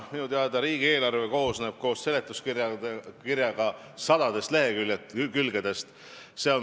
Minu teada koosneb riigieelarve koos seletuskirjaga sadadest lehekülgedest.